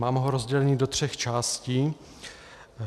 Mám ho rozdělený do tří částí.